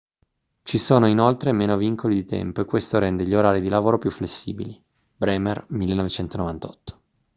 ci sono inoltre meno vincoli di tempo e questo rende gli orari di lavoro più flessibili. bremer 1998